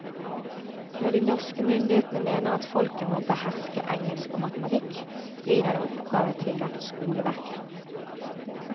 Når de norske myndighetene mener at folket må beherske engelsk og matematikk, blir denne oppgave tillagt skoleverket.